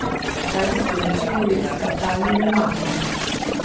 Kaj bi sporočili skakalnim junakom?